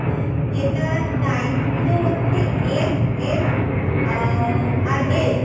যেটার size গুলো হচ্ছে M, X আর L